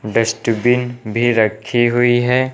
Dustbin भी रखी हुई है।